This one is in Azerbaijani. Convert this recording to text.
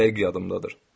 Dəqiq yadımdadır.